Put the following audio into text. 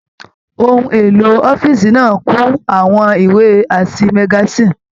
Òhun èlò ọ̀fiísí náà kú àwọn ìwé àti magasin.